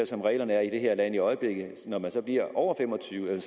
som reglerne er i det her land i øjeblikket når man så bliver over fem og tyve